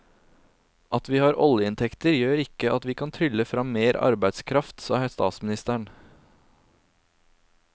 At vi har oljeinntekter gjør ikke at vi kan trylle frem mer arbeidskraft, sa statsministeren.